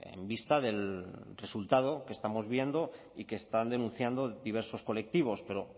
en vista del resultado que estamos viendo y que están denunciando diversos colectivos pero